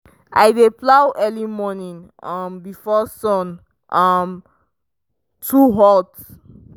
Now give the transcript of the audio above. i dey plow early morning um before sun um too hot.